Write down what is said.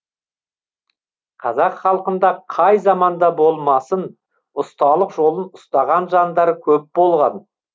қазақ халқында қай заманда болмасын ұсталық жолын ұстаған жандар көп болған